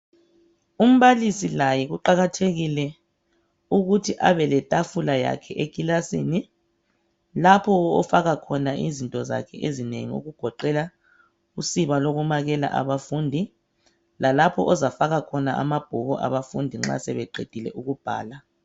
Umbalisi laye kuqakathekile ukuthi abe letafula yakhe ekilasini lapho ofaka khona izinto zakhe ezinengi okugoqela usiba lokumakela abafundi lalapho ozafaka khona amabhuku abafundi sebeqedile ukubhala